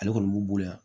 Ale kɔni b'u bolo yan